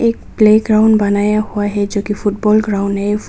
Playground बनाया हुआ जो की फुटबॉल ग्राउंड है।